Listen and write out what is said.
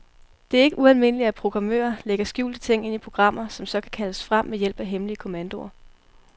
Det er ikke ualmindeligt, at programmører lægger skjulte ting ind i programmer, som så kan kaldes frem ved hjælp af hemmelige kommandoer.